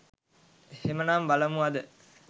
එහෙමනම් බලමු අද